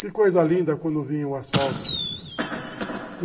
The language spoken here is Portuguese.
Que coisa linda quando vinha o asfalto.